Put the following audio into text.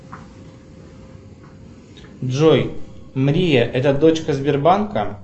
джой мрия это дочка сбербанка